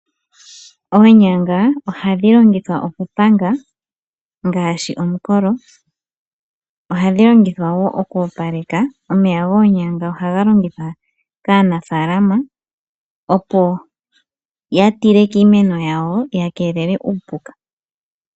Oonyanga ohadhi longithwa okupanga ngaashi omukolo. Ohadhi longithwa wo oku opaleka. Omeya goonyanga ohaga longithwa kaa nafaalama opo ya tile kiimeno yawo, ya keelele uupuka.